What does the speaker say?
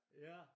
Ja